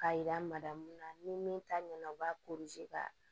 K'a yira mada mun na ni min ta ɲɛna o b'a ka